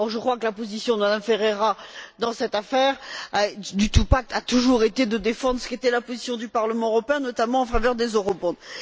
Or, je crois que la position de Mme Ferreira dans cette affaire du two pack a toujours été de défendre ce qui était la position du Parlement européen, notamment en faveur des eurobonds.